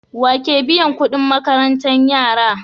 Wake biyan Ƙudin makarantar yara